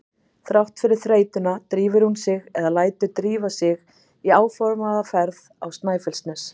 Þrátt fyrir þreytuna drífur hún sig eða lætur drífa sig í áformaða ferð á Snæfellsnes.